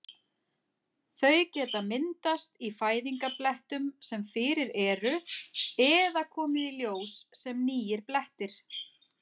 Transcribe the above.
Þau geta myndast í fæðingarblettum sem fyrir eru eða komið í ljós sem nýir blettir.